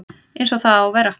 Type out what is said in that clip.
Eins og það á að vera